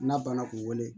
N'a banna k'u wele